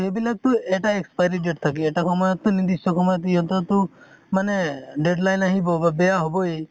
সেইবিলাক তো এটা expiry date থাকে । এটা সময়ত তো নিৰ্দিষ্ট সময় ত তো সিহঁতৰ তো মানে deadline আহিব বা বেয়া হʼবয়ে ।